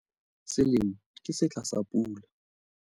Selemo ke setlha sa pula.